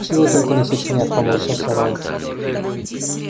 чего только не сочинят поморщился рон